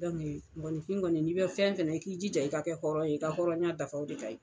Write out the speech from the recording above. mɔgɔnifin kɔni n'i bɛ fɛn fɛn na i k'i ja i ka kɛ hɔrɔn ye, i ka hɔrɔnya dafa de ka ɲi'